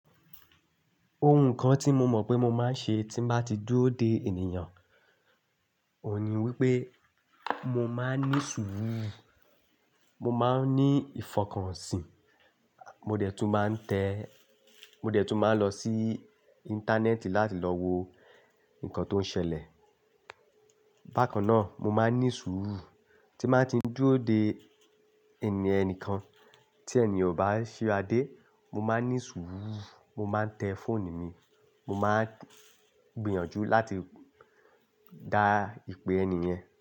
Ohun kan tí mo mọ̀ pé mo máa ń ṣe tí bá ti dúró de ènìyàn, òun ni wípé mo máa ń ní ṣúrù, mo máa ń ní ìfọkànsìn, mo dẹ̀ tún máa ń tẹ́, mo dẹ̀ tún máa ń lọ sí Íńtánẹ́ẹ̀tì láti lọ wo nǹkan tó ń ṣẹlẹ̀. Bákan náà, mo máa ń ní ṣúrù tí máa ń ti dúró de ènì-- ẹnìkan tí ènì yen ò bá ṣiradé, mo máa ń ní ṣúrù, mo máa ń tẹ fóonù mi, mo máa gbìyànjú láti dá ìpè ẹni yẹn.